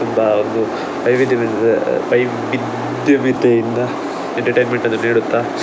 ಒಬ್ಬ ಒಂದು ವೈವಿಧ್ಯಮಯ ವೈವಿದ್ಯಮಿತೆಯಿಂದ ಎಂಟರ್‌ಟೆಯಿನ್ಮೆಂಟ್‌ ಅನ್ನು ನೀಡುತ್ತಾ